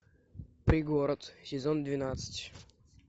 пригород сезон двенадцать